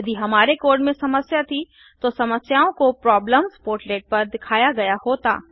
यदि हमारे कोड में समस्या थी तो समस्याओं को प्रॉब्लेमस्पोर्टलेट पर दिखाया गया होता